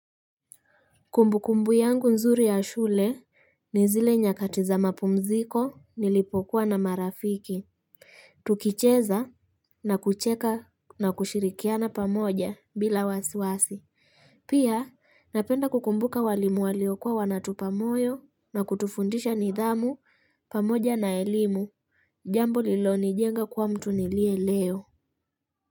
Kumbu kumbu yangu nzuri ya shule ni zile nyakati za mapumziko nilipokuwa na marafiki. Tukicheza na kucheka na kushirikiana pamoja bila wasiwasi. Pia napenda kukumbuka walimu walio kuwa wanatu pa moyo na kutufundisha nidhamu pamoja na elimu jambo lilo nijenga kuwa mtu nilie leo.